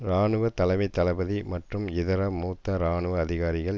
இராணுவ தலைமை தளபதி மற்றும் இதர மூத்த இராணுவ அதிகாரிகள்